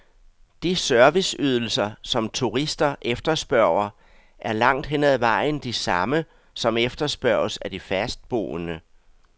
De serviceydelser, som turister efterspørger, er langt hen ad vejen de samme, som efterspørges af de fastboende.